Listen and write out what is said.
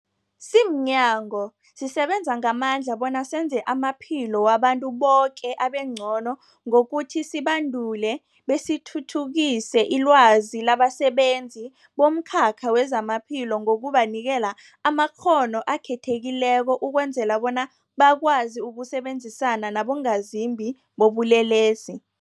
Simnyango, sisebenza ngamandla bona senze amaphilo wabantu boke abengcono ngokuthi sibandule besithuthukise ilwazi labasebenzi bomkhakha wezamaphilo ngokubanikela amakghono akhethekileko ukwenzela bona bakwazi ukusebenzisana nabongazimbi bobulelesi.